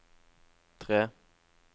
tre